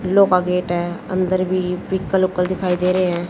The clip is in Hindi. का गेट है अंदर भी दिखाई दे रहे हैं।